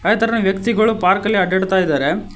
They ತೇರನ ವ್ಯಕ್ತಿಗಳು park ಅಲ್ಲಿ ಅಡ್ಡಾಡ್ತಾಇದಾರೆ.